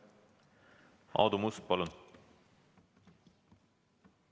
Aadu Must, palun!